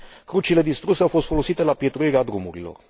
Crucile distruse au fost folosite la pietruirea drumurilor.